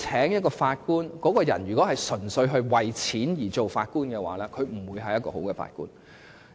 如果某人純粹為了金錢而當法官，他也不會是一位好法官。